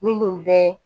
Minnu bɛ